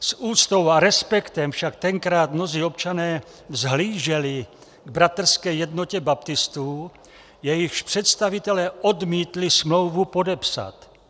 S úctou a respektem však tenkrát mnozí občané vzhlíželi k Bratrské jednotě baptistů, jejichž představitelé odmítli smlouvu podepsat.